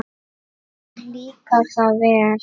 Mér líkaði það vel.